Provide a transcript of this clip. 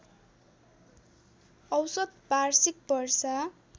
औसत वार्षिक वर्षा